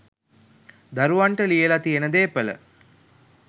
දරුවන්ට ලියල තියෙන දේපළ